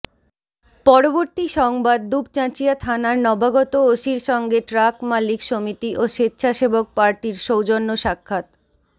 পরবর্তী সংবাদ দুপচাঁচিয়া থানার নবাগত ওসির সঙ্গে ট্রাক মালিক সমিতি ও স্বেচ্ছাসেবক পার্টির সৌজন্য স্বাক্ষাত